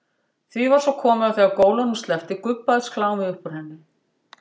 Því var svo komið að þegar gólunum sleppti gubbaðist klámið upp úr henni.